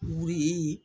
Wuli